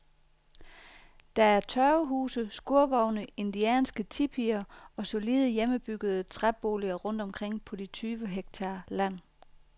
Der er tørvehuse, skurvogne, indianske tipier og solide, hjemmebyggede træboliger rundt omkring på de tyve hektar land.